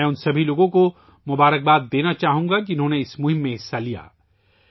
میں ان تمام لوگوں کو مبارکباد دینا چاہوں گا ، جنہوں نے اس مہم میں حصہ لیا